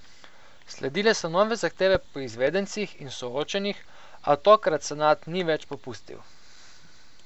Sledile so nove zahteve po izvedencih in soočenjih, a tokrat senat ni več popustil.